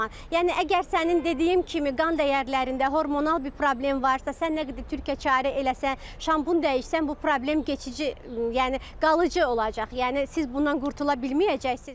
Yəni əgər sənin dediyim kimi qan dəyərlərində hormonal bir problem varsa, sən nə qədər türkəçarə eləsən, şampun dəyişsən bu problem keçici, yəni qalıcı olacaq, yəni siz bundan qurtula bilməyəcəksiniz.